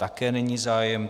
Také není zájem.